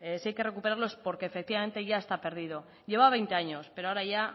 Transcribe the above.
si hay que recuperarlo es porque efectivamente ya está perdido llevaba veinte años pero ahora ya